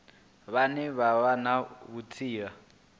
vhane vha vha na vhutsila